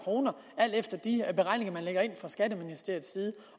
efter de beregninger man lægger ind fra skatteministeriets side